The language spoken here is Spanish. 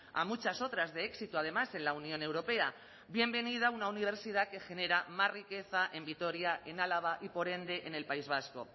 a muchas otras de éxito además en la unión europea bienvenida una universidad que genera más riqueza en vitoria en álava y por ende en el país vasco